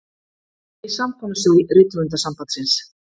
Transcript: Í samkomusal Rithöfundasambandsins.